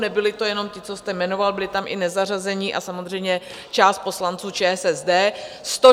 Nebyli to jenom ti, co jste jmenoval, byli tam i nezařazení a samozřejmě část poslanců ČSSD.